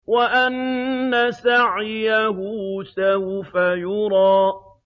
وَأَنَّ سَعْيَهُ سَوْفَ يُرَىٰ